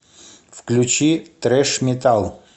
включи трэш метал